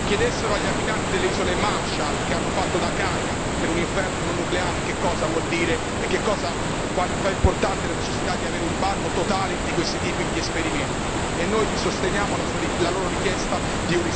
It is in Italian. Chiedessero agli abitanti delle Isole Marshall che hanno fatto da cavia per un inferno nucleare che cosa vuol dire e quanto è importante la necessità di avere un bando totale di questi tipi di esperimenti e noi sosteniamo la loro richiesta di un risarcimento da parte degli Stati Uniti.